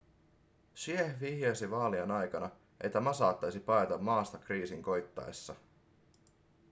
hsieh vihjasi vaalien aikana että ma saattaisi paeta maasta kriisin koittaessa